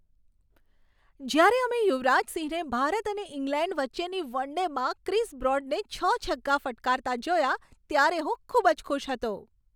જ્યારે અમે યુવરાજ સિંહને ભારત અને ઇંગ્લેન્ડ વચ્ચેની વન ડેમાં ક્રિસ બ્રોડને છ છગ્ગા ફટકારતા જોયા, ત્યારે હું ખૂબ જ ખુશ હતો.